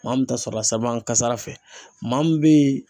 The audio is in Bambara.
Maa min ta sɔrɔ la siraba kasara fɛ maa , min bɛ yen